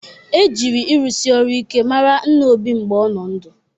E jịrị ịrụsị ọrụ ike mara nna Obi mgbe ọ nọ ndụ